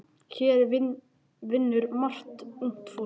Hér vinnur margt ungt fólk.